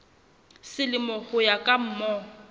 selemo ho ya ka mm